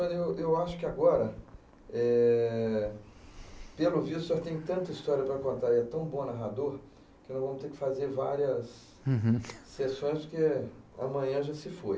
eu acho que agora, eh, pelo visto, o senhor tem tanta história para contar e é tão bom narrador que nós vamos ter que fazer várias...hum.essões, porque, eh, amanhã já se foi.